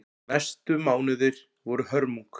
Næstu mánuðir voru hörmung.